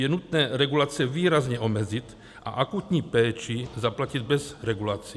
Je nutné regulace výrazně omezit a akutní péči zaplatit bez regulací.